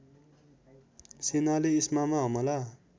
सेनाले इस्मामा हमला